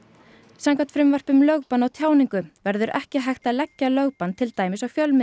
samkvæmt frumvarpi um lögbann á tjáningu verður ekki hægt að leggja lögbann til dæmis á fjölmiðil